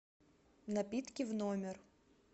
напитки в номер